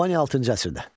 Albaniya altıncı əsrdə.